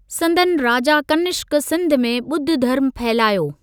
संदनि राजा कनिष्क सिंध में ॿुद्ध धर्मु फहिलायो।